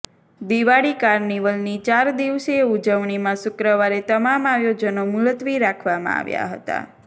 દિવાળી કાર્નિવલની ચાર દિવસીય ઉજવણીમાં શુક્રવારે તમામ આયોજનો મુલત્વી રાખવામાં આવ્યા હતા